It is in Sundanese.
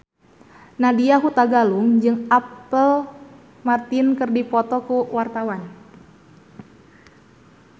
Nadya Hutagalung jeung Apple Martin keur dipoto ku wartawan